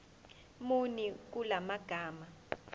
muni kula magama